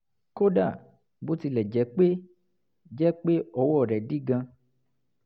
kódà bó tilẹ̀ jẹ́ pé jẹ́ pé ọwọ́ rẹ̀ dí gan-an